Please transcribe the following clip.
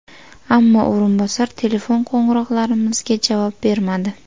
Ammo o‘rinbosar telefon qo‘ng‘iroqlarimizga javob bermadi.